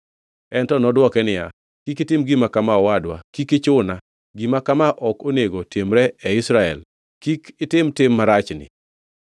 En to nodwoke niya, “Kik itim gima kama, owadwa. Kik ichuna. Gima kama ok onego timre e Israel! Kik itim tim marachni.